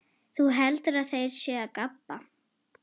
Þú heldur að þeir séu að gabba?